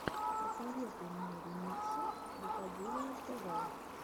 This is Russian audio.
посоветуй мне ремиксы рукоделия тв